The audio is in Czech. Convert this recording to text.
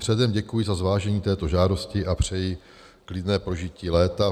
Předem děkuji za zvážení této žádosti a přeji klidné prožití léta.